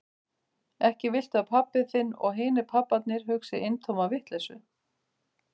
Ekki viltu að pabbi þinn og hinir pabbarnir hugsi eintóma vitleysu?